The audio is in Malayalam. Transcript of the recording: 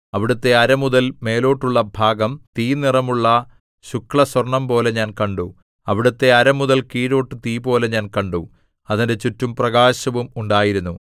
അവിടുത്തെ അരമുതൽ മേലോട്ടുള്ള ഭാഗം തീ നിറമുള്ള ശുക്ലസ്വർണ്ണംപോലെ ഞാൻ കണ്ടു അവിടുത്തെ അരമുതൽ കീഴോട്ട് തീപോലെ ഞാൻ കണ്ടു അതിന്റെ ചുറ്റും പ്രകാശവും ഉണ്ടായിരുന്നു